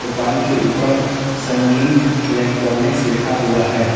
दुकान के ऊपर संगीत इलेक्ट्रॉनिक्स लिखा हुआ है।